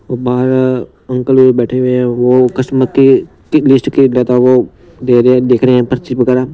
गुब्बारा अंकल वो बैठे हुए है वो कस्टमर के के गेस्ट के दे रहे है देख रहे है पर्ची वगैरा।